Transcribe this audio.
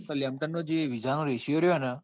તો lamton જે visa નો ratio ર્યો ને